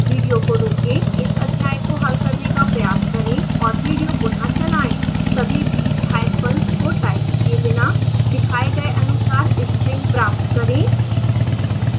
video को रोकें इस अध्याय का प्रयास करें और विडियो पुनः चलाएं